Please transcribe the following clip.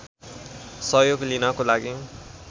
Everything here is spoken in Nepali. सहयोग लिनको लागि